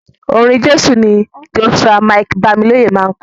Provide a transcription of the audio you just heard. Orin Jésù ni Joshua Mike-Bamiloye máa ń kọ.